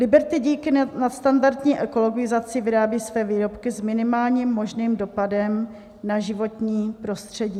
Liberty díky nadstandardní ekologizaci vyrábí své výrobky s minimálním možným dopadem na životní prostředí.